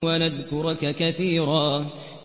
وَنَذْكُرَكَ كَثِيرًا